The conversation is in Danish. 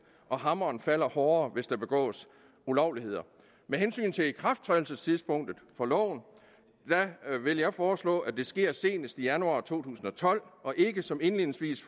og hammeren falder hårdere hvis der begås ulovligheder med hensyn til ikrafttrædelsestidspunktet for loven vil jeg foreslå at det sker senest i januar to tusind og tolv og ikke som indledningsvis